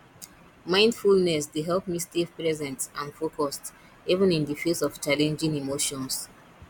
mindfulness dey help me stay present and focused even in di face of challenging emotions